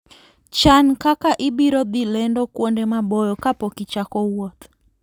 Chan kaka ibiro dhi lendo kuonde maboyo kapok ichako wuoth.